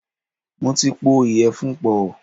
Mo ti pọ̀ ìyẹ̀fun pọ̀.